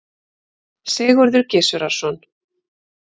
Sigurður Gizurarson.